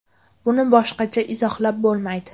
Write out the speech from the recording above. Buni boshqacha izohlab bo‘lmaydi.